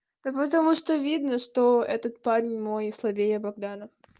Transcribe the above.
да потому что видно что этот парень мой слабее богдана